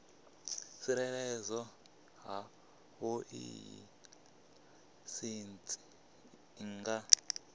tsireledzea havhoiyi laisentsi i nga